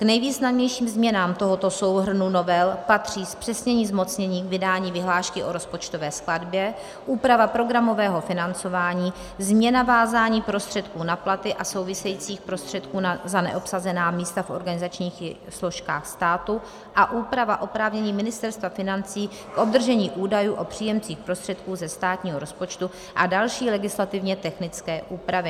K nejvýznamnějším změnám tohoto souhrnu novel patří zpřesnění zmocnění k vydání vyhlášky o rozpočtové skladbě, úprava programového financování, změna vázání prostředků na platy a souvisejících prostředků za neobsazená místa v organizačních složkách státu a úprava oprávnění Ministerstva financí k obdržení údajů o příjemcích prostředků ze státního rozpočtu a další legislativně technické úpravy.